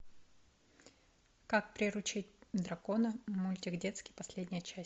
как приручить дракона мультик детский последняя часть